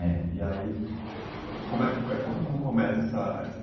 É. aí, como é, eh, conta como começa essa essa...